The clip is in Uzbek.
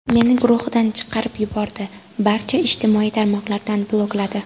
Meni guruhidan chiqarib yubordi, barcha ijtimoiy tarmoqlardan blokladi.